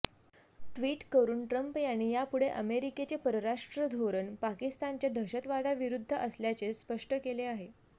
tweet करून Trump यांनी यापुढे अमेरिकेचे परराष्ट्र धोरण पाकिस्तानच्या दहशतवादाविरुद्ध असल्याचे स्पष्ट केले आहे